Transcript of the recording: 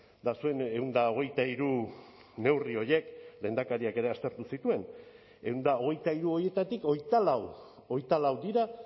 eta zuen ehun eta hogeita hiru neurri horiek lehendakariak ere aztertu zituen ehun eta hogeita hiru horietatik hogeita lau hogeita lau dira